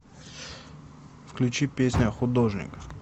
включи песня художник